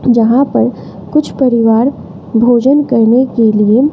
जहां पर कुछ परिवार भोजन करने के लिए--